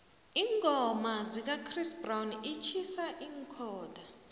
iingoma zikachris brown itjhisa iinkhotha